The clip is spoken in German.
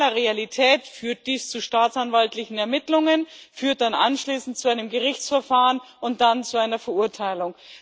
In normaler Realität führt dies zu staatsanwaltlichen Ermittlungen, es führt dann anschließend zu einem Gerichtsverfahren und dann zu einer Verurteilung.